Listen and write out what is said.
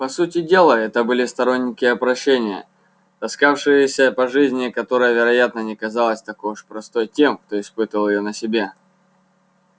по сути дела это были сторонники опрощения таскавшееся по жизни которая вероятно не казалась такой уж простой тем кто испытал её на себе